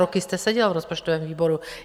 Roky jste seděl v rozpočtovém výboru.